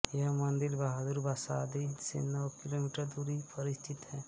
यह मंदिर बहादुर बसादी से नौ किलोमीटर की दूरी पर स्थित है